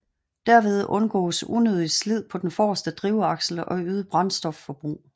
Derved undgås unødigt slid på den forreste drivaksel og øget brændstofforbrug